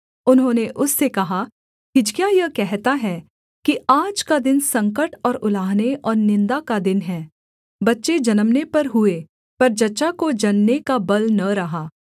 उन्होंने उससे कहा हिजकिय्याह यह कहता है कि आज का दिन संकट और उलाहने और निन्दा का दिन है बच्चे जन्मने पर हुए पर जच्चा को जनने का बल न रहा